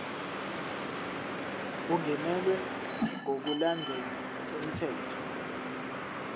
ungenelwe ngokulandela umthetho